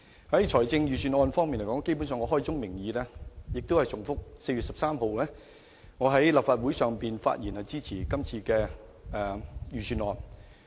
就財政預算案方面而言，基本上我開宗明義，仍是重複我在4月13日立法會會議上的發言，我支持今次的預算案。